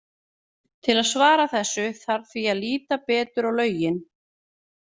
Til að svara þessu þarf því að líta betur á lögin.